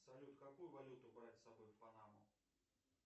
салют какую валюту брать с собой в панаму